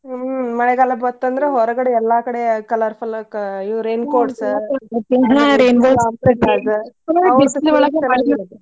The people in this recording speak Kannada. ಹ್ಮ್ ಮಳೆಗಾಲ ಬಂತಂದ್ರ ಹೊರಗಡೆ ಎಲ್ಲಾ ಕಡೆ colour colours raincoats